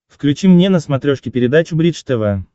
включи мне на смотрешке передачу бридж тв